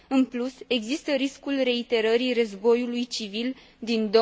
În plus, există riscul reiterării războiului civil din